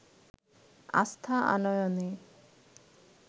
আস্থা আনয়নে